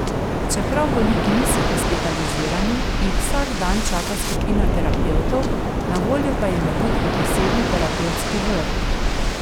Čeprav bolniki niso hospitalizirani, jih vsak dan čaka skupina terapevtov, na voljo pa jim je tudi posebni terapevtski vrt.